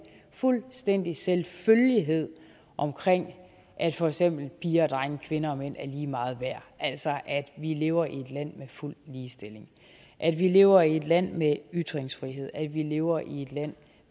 fuldstændig selvfølgelighed at for eksempel piger og drenge kvinder og mænd er lige meget værd altså at vi lever i et land med fuld ligestilling at vi lever i et land med ytringsfrihed at vi lever i et land